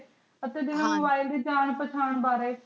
ਆਚਾ ਜਿਵੇਂ mobile ਦੀ ਜਾਣ ਪੇਚਾਂਰ ਬਾਰੀ